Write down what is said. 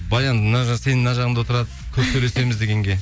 баян мына сенің мына жағыңда отырады көп сөйлесеміз дегенге